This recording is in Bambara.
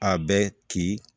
A bɛ ci